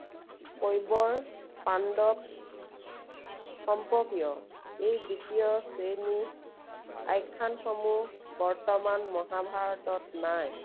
কৈৱৰ পাণ্ডৱ সম্পৰ্কীয়। এই দ্বিতীয় শ্ৰেণীৰ, আখ্য়ানসমূহ বৰ্তমান মহাভাৰতত নাই।